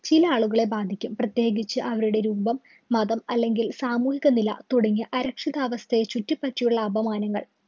ചില ആളുകളെ ബാധിക്കും. പ്രത്യേകിച്ച് അവരുടെ രൂപം, മതം അല്ലെങ്കില്‍ സാമൂഹിക നില തുടങ്ങിയ അരക്ഷിതാവസ്ഥയെ ചുറ്റിപറ്റിയുള്ള അപമാനങ്ങള്‍